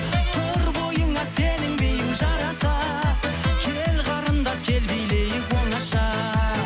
тұр бойыңа сенің биің жараса кел қарындас кел билейік оңаша